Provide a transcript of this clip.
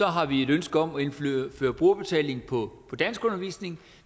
har vi et ønske om at indføre brugerbetaling på danskundervisning